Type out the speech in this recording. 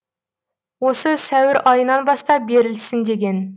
осы сәуір айынан бастап берілсін деген